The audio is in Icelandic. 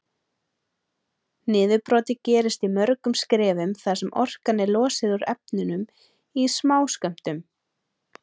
Niðurbrotið gerist í mörgum skrefum þar sem orkan er losuð úr efnunum í smáskömmtum.